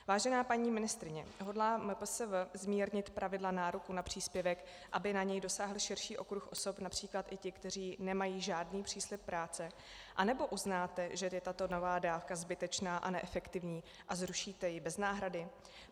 Vážená paní ministryně, hodlá MPSV zmírnit pravidla nároku na příspěvek, aby na něj dosáhl širší okruh osob, například i ti, kteří nemají žádný příslib práce, anebo uznáte, že je tato nová dávka zbytečná a neefektivní a zrušíte ji bez náhrady?